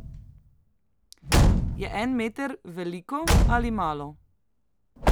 Je en meter veliko ali malo?